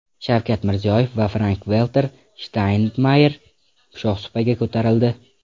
Shavkat Mirziyoyev va Frank-Valter Shtaynmayer shohsupaga ko‘tarildi.